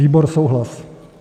Výbor: souhlas.